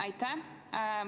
Aitäh!